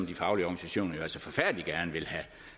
de faglige organisationer forfærdelig gerne vil